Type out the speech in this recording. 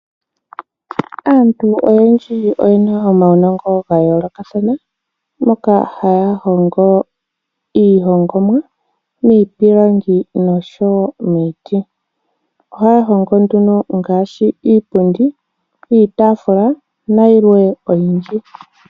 Aantu oyendji oyena omaunongo gayolokathana, moka haya hongo iihongomwa miipilangi nosho woo miiti. Oha ya hongo nduno ngaashi iipundi, iitafula na yilwe oyindji.